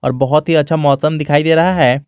और बहुत ही अच्छा मौसम दिखाई दे रहा है।